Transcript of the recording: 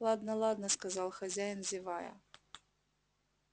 ладно ладно сказал хозяин зевая